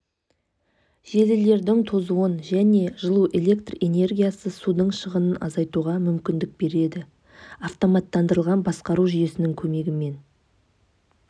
желілердің тозуын және жылу электр энергиясы судың шығынын азайтуға мүмкіндік береді автоматтандырылған басқару жүйесінің көмегімен